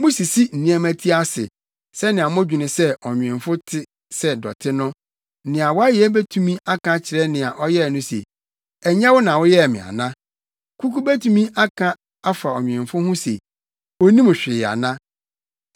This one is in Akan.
Musisi nneɛma ti ase, sɛnea modwene sɛ ɔnwemfo te sɛ dɔte no! Nea wayɛ betumi aka akyerɛ nea ɔyɛe no se, “Ɛnyɛ wo na woyɛɛ me ana”? Kuku betumi aka afa ɔnwemfo ho se “Onnim hwee ana”?